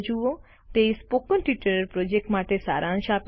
તે spoken tutorial project માટે સારાંશ આપે છે